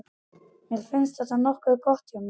Mér fannst þetta nokkuð gott hjá mér.